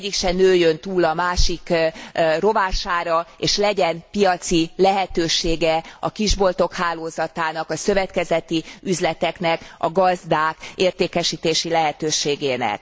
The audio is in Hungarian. Egyik se nőjön túl a másik rovására, és legyen piaci lehetősége a kis boltok hálózatának, a szövetkezeti üzleteknek, a gazdák értékesítési lehetőségének.